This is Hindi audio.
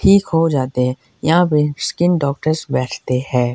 ठीक हो जाते है यहां पे स्किन डॉक्टर्स बैठते है।